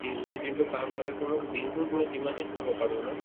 energy গোটে দিনতো কাম কৰে to মোক দিনতোত মই যিমানে খাব পাৰো ন